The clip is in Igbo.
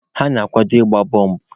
Ha na-akwado ịgba bọmbụ.